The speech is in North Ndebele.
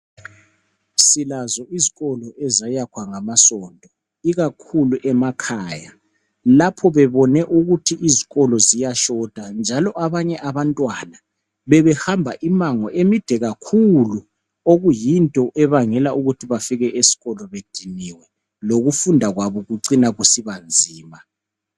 silazo izkolo ezayakhwa ngamasonto ikakhulu emakhaya lapho bebone ukuthi izkolo ziyashota njalo abanye abantwana bebehamba imango emide kakhulu okuyinto ebangela ukuthi bafike esikolo bediniwe lokufunda kwabo kucina kusiba nzima